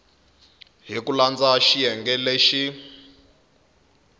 hi ku landza xiyenge lexi